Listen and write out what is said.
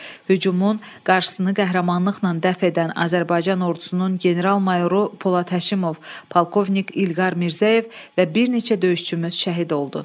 Hücumun qarşısını qəhrəmanlıqla dəf edən Azərbaycan ordusunun general-mayoru Polad Həşimov, polkovnik İlqar Mirzəyev və bir neçə döyüşçümüz şəhid oldu.